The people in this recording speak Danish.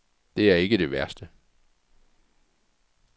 Det er ikke det værste.